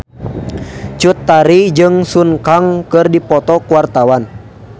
Cut Tari jeung Sun Kang keur dipoto ku wartawan